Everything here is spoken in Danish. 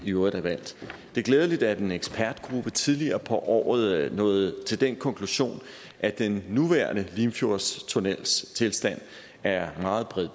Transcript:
øvrigt er valgt det er glædeligt at en ekspertgruppe tidligere på året nåede til den konklusion at den nuværende limfjordstunnels tilstand er meget